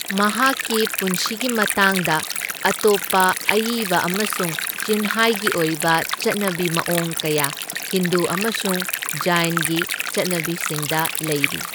ꯃꯍꯥꯛꯀꯤ ꯄꯨꯟꯁꯤꯒꯤ ꯃꯇꯥꯡꯗ ꯑꯇꯣꯞꯄ ꯑꯏꯕ ꯑꯃꯁꯨꯡ ꯆꯤꯟꯍꯥꯏꯒꯤ ꯑꯣꯏꯕ ꯆꯠꯅꯕꯤ ꯃꯑꯣꯡ ꯀꯌꯥ ꯍꯤꯟꯗꯨ ꯑꯃꯁꯨꯡ ꯖꯩꯢꯟꯒꯤ ꯆꯠꯅꯕꯤꯁꯤꯡꯗ ꯂꯩꯔꯤ꯫